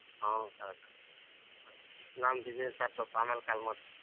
ನಾನ್ busy ಇದ್ದೀನ್ ಸ್ವಲ್ಪ ಆಮೇಲೆ call ಮಾಡ್ತೀನಿ.